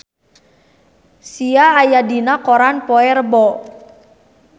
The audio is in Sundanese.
Sia aya dina koran poe Rebo